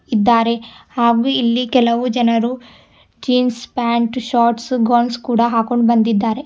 ಇದ್ದಾರೆ ಹಾಗೂ ಇಲ್ಲಿ ಕೆಲವು ಜನರು ಜೀನ್ಸ್ ಪ್ಯಾಂಟ್ ಶಾರ್ಟ್ಸ್ ಗೌನ್ಸ್ ಕೂಡ ಹಾಕೊಂಡ್ ಬಂದಿದ್ದಾರೆ.